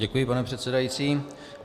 Děkuji, pane předsedající.